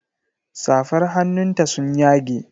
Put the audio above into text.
Safar hannun ta sun yage.